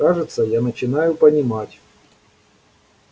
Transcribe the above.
кажется я начинаю понимать